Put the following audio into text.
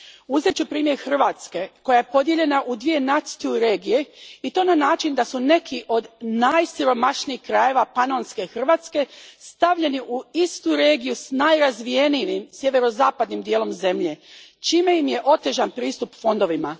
Uzet ću primjer Hrvatske koja je podijeljena u dvije NUTS II regije i to na način da su neki od najsiromašnijih krajeva panonske Hrvatske stavljeni u istu regiju s najrazvijenijim sjeverozapadnim dijelom zemlje, čime im je otežan pristup fondovima.